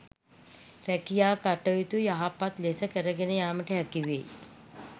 රැකියා කටයුතු යහපත් ලෙස කරගෙන යාමට හැකිවේ.